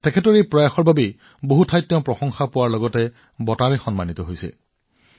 তেওঁ নিজৰ প্ৰচেষ্টাৰ বাবে বহুতো প্ৰশংসা লাভ কৰিছে আৰু বঁটাও লাভ কৰিছে